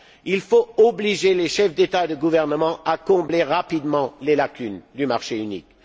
Il faut obliger les chefs d'État et de gouvernement à combler rapidement les lacunes du marché unique.